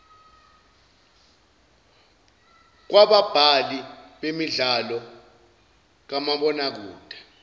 kwababhali bemidlalo kamabonakede